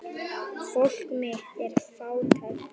Fólk mitt er fátækt.